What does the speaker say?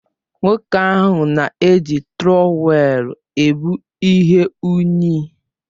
Nwoke ahụ na-eji Trọwèlu ebu ihe unyi